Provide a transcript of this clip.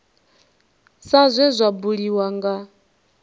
sa zwe zwa buliwa nga